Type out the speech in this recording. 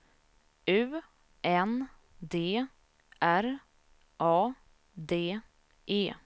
U N D R A D E